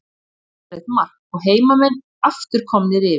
Glæsilegt mark og heimamenn aftur komnir yfir.